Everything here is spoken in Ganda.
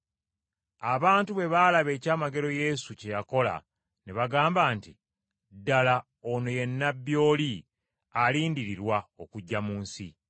Abantu bwe baalaba ekyamagero Yesu kye yakola ne bagamba nti, “Ddala ono ye Nnabbi oli alindirirwa okujja mu nsi!”